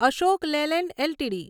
Ashok Leyland LTD